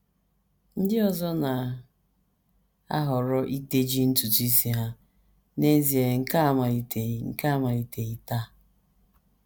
Ndị ọzọ na - ahọrọ iteji ntutu isi ha, n’ezie nke a amaliteghị nke a amaliteghị taa.